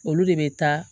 Olu de bɛ taa